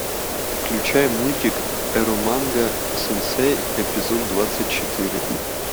включай мультик эроманга сенсей эпизод двадцать четыре